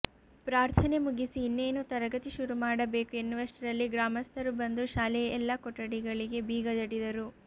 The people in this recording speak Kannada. ಪ್ರಾರ್ಥನೆ ಮುಗಿಸಿ ಇನ್ನೇನು ತರಗತಿ ಶುರು ಮಾಡಬೇಕು ಎನ್ನುವಷ್ಟರಲ್ಲಿ ಗ್ರಾಮಸ್ಥರು ಬಂದು ಶಾಲೆಯ ಎಲ್ಲ ಕೊಠಡಿಗಳಿಗೆ ಬೀಗ ಜಡಿದರು